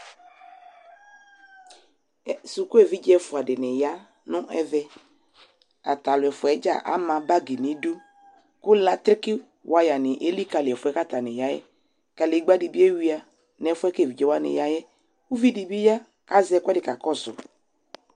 Ɛ, suku evidze ɛfua de ne ya nɛvɛAtalu ɛfuɛ dza ama bagi nedu ko lakeke waya ne elikali ɛfuɛ ka atane yaɛKalegba de ewia nɛfuɛ ke evidze wane yaɛ Uvi de be ya kazɛ ɛkuɛde ka kɔso